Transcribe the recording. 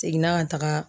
Seginna ka taga